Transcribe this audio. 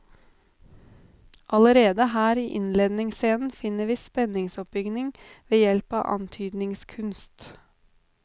Allerede her i innledningsscenen finner vi spenningsoppbygging ved hjelp av antydningskunst.